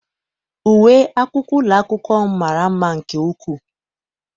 Uwe akwụkwọ ụlọ akwụkwọ m mara mma nke ukwuu.